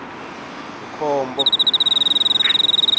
mkhombo